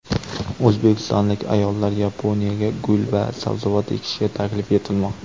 O‘zbekistonlik ayollar Yaponiyaga gul va sabzavot ekishga taklif etilmoqda.